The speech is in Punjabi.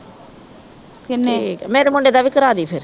ਠੀਕ ਆ ਮੇਰੇ ਮੁੰਡੇ ਦਾ ਵੀ ਕਰਾਦੀ ਫਿਰ